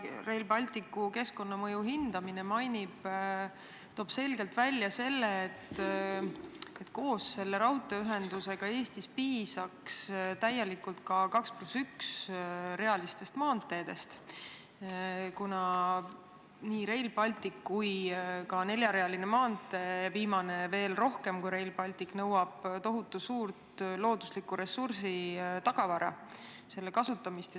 Rail Balticu keskkonnamõju hindamise aruanne toob selgelt välja, et koos raudteeühendusega piisaks Eestis täielikult ka 2 + 1 maanteedest, kuna nii Rail Baltic kui ka neljarealine maantee – viimane veel rohkem kui Rail Baltic – nõuavad tohutu suurt looduslikku ressurssi, selle kasutamist.